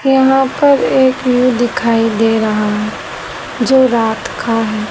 यहां पर एक व्यू दिखाई दे रहा है जो रात का है।